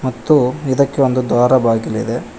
ಮತ್ತು ಇದಕ್ಕೆ ಒಂದು ದ್ವಾರ ಬಾಗಿಲು ಇದೆ.